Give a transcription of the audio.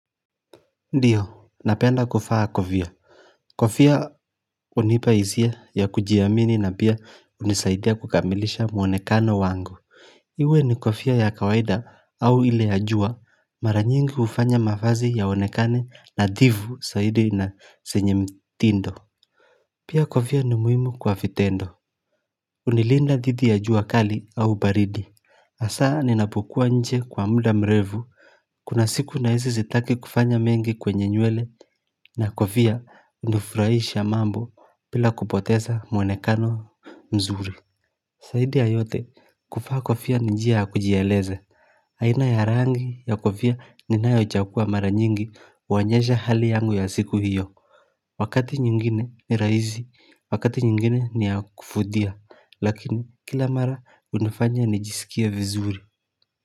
Ndiyo, napenda kufaa kovia. Kofia hunipa hisia ya kujiamini na pia hunisaidia kukamilisha mwonekano wangu Iwe ni kofia ya kawaida au ile ya jua mara nyingi hufanya mavazi yaonekane nadhivu saidi na senye mtindo Pia kovia ni muhimu kwa fitendo Unilinda dhidi ya jua kali au baridi hasaa ninapokua nje kwa muda mrevu Kuna siku na hizi zitaki kufanya mengi kwenye nywele na kofia hunufurahisha mambo pila kupoteza mwenekano mzuri saidi ya yote kufaa kofia ni njia ya kujieleze haina ya rangi ya kofia ninayoichagua mara nyingi huonyeza hali yangu ya siku hiyo Wakati nyingine ni rahizi, wakati nyingine ni ya kufudia Lakini kila mara hunifanya nijisikie vizuri.